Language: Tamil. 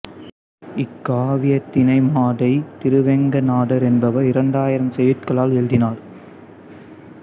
இக்காவியத்தினை மாதை திருவேங்கட நாதர் என்பவர் இரண்டாயிரம் செய்யுட்களால் எழுதினார்